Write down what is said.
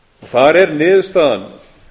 þar er niðurstaðan